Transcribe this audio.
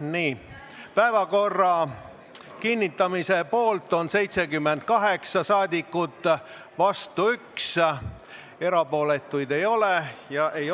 Hääletustulemused Päevakorra kinnitamise poolt on 78 rahvasaadikut, vastu 1, erapooletuid ei ole ja ei